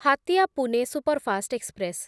Hatia Pune superfast express